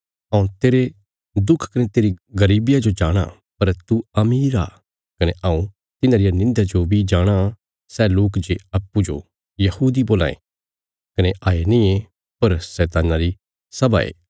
हऊँ तेरे दुख कने तेरी गरीबिया जो जाणाँ पर तू अमीर आ कने हऊँ तिन्हां रिया निंध्या जो बी जाणाँ सै लोक जे अप्पूँजो यहूदी बोलां ये कने हये नींये पर शैतान्ना री सभा ये